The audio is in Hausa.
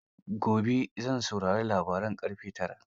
Gobe zan saurari labaran ƙarfe tara.